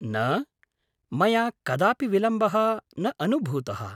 न, मया कदापि विलम्बः न अनुभूतः।